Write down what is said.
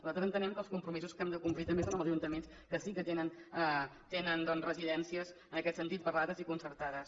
nosaltres entenem que els compromisos que hem de complir també són amb els ajuntaments que sí que tenen residències en aquest sentit parlades i concertades